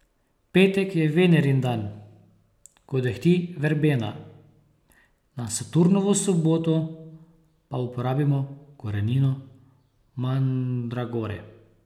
Petek je Venerin dan, ko dehti verbena, na Saturnovo soboto pa uporabimo korenino mandragore.